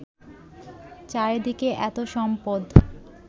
চারিদিকে এত সম্পদ